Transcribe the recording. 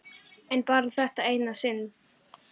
En bara þetta eina sinn.